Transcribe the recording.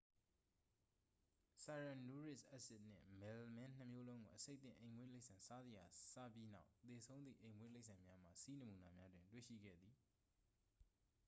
ဆိုင်ရန်နူရစ်အက်ဆစ်နှင့် မယ်လမင်းနှစ်မျိုးလုံးကို အဆိပ်သင့် အိမ်မွေးတိရစ္ဆာန်စားစရာ စားပြီးနောက် သေဆုံးသည့် အိမ်မွေးတိရစ္ဆာန်များမှ ဆီးနမူနာများတွင် တွေ့ရှိခဲ့သည်